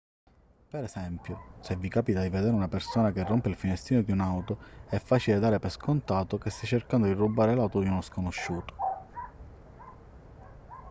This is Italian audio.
per esempio se vi capita di vedere una persona che rompe il finestrino di un'auto è facile dare per scontato che stia cercando di rubare l'auto di uno sconosciuto